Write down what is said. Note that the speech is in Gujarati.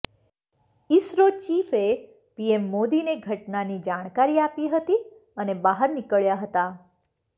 ઇસરો ચીફે પીએમ મોદીને ઘટનાની જાણકારી આપી હતી અને બહાર નીકળ્યા હતા